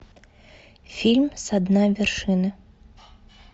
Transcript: фильм со дна вершины